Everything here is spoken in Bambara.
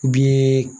Bi